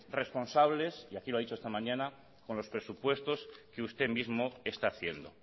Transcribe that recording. responsables y aquí lo ha dicho esta mañana con los presupuestos que usted mismo está haciendo